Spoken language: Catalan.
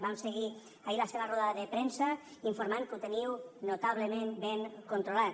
vam seguir ahir la seva roda de premsa informant que ho teniu notablement ben controlat